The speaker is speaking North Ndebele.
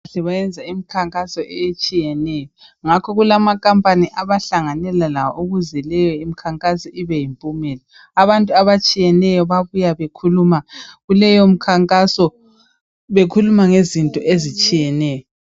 Bayenza imikhankaso etshiyeneyo ngakho kulamakhampani abahlanganela lawo ukuze leyo imikhankaso ibe yimpumela. Abantu abatshiyeneyo bayabuya bekhuluma kuleyo mikhankaso bekhuluma ngezinto ezitshiyeneyo.